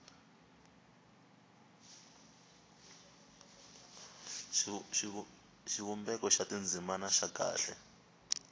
xivumbeko xa tindzimana xa kahle